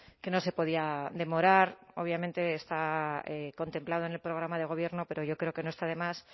que no se podía demorar obviamente está contemplado en el programa de gobierno pero yo creo que no está de más